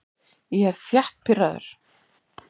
Ég er þétt pirraður.